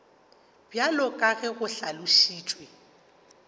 bjalo ka ge go hlalošitšwe